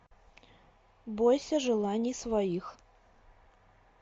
бойся желаний своих